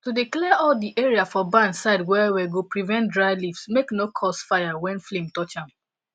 to dey clear all di area for barn side well well go prevent dry leaves make no cause fire when flame touch am